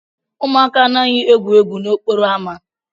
Ụmụaka anaghị egwu egwu n'okporo ámá.